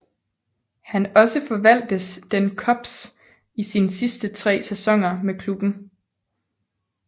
Han også forvaltes den Cubs i sine sidste tre sæsoner med klubben